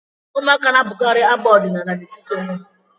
Ụmụaka na-abụkarị abụ ọdịnaala n'etiti onwe ha